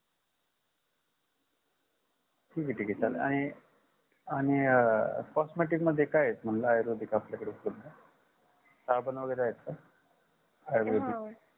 ठीक आहे ठीक आहे चालेल आणि आणि अ costmatic मध्ये काय आहेत मग आयुर्वेदिक आपल्याकडे उपलबद्ध साबण वगेरे आहेत का आयुर्वेदिक